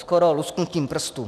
Skoro lusknutím prstu.